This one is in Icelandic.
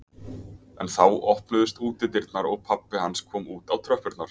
En þá opnuðust útidyrnar og pabbi hans kom út á tröppurnar.